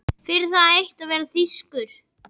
Fyrir það eitt að vera þýskur.